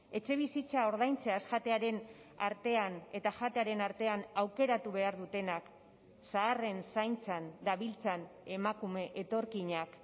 etxebizitza ordaintzeaz jatearen artean eta jatearen artean aukeratu behar dutenak zaharren zaintzan dabiltzan emakume etorkinak